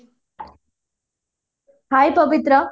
Hye Pabitra